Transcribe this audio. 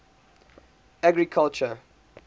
agriculture